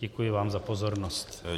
Děkuji vám za pozornost.